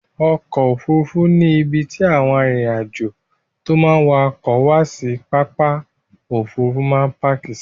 Ọkọ̀ Òfurufú ni ibi tí àwọn arìnrìn-àjò tó máa ń wa ọkọ̀ wá sí pápá Òfurufú máa ń páàkì sí.